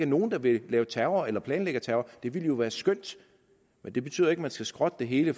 nogen der ville lave terror eller planlagde terror det ville jo være skønt men det betyder ikke man skal skrotte det hele